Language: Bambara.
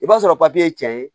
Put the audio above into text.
I b'a sɔrɔ ye cɛ ye